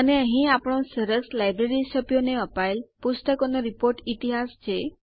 અને અહીં આપણો સરસ લાઈબ્રેરી સભ્યોને અપાયેલ પુસ્તકોનો રીપોર્ટ ઈતિહાસ છે